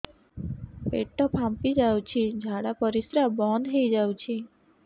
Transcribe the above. ପେଟ ଫାମ୍ପି ଯାଉଛି ଝାଡା ପରିଶ୍ରା ବନ୍ଦ ହେଇ ଯାଉଛି